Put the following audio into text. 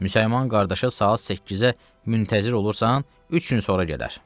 Müsəlman qardaşa saat 8-ə müntəzir olursan, üç gün sonra gələr.